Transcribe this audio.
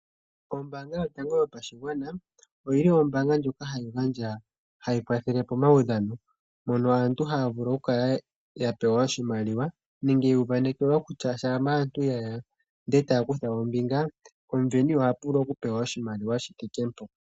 Ombaanga yotango yopashigwana ombaanga ndjoka hayi kwathele pomaudhano, mpono aantu haya vulu okukala ya pewa oshimaliwa nenge yu uvanekelwa kutya uuna aantu ye ya e taya kutha ombinga omusindani oha vulu okupewa oshimaliwa shomwaalu gontumba.